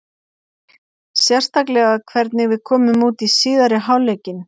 Sérstaklega hvernig við komum út í síðari hálfleikinn.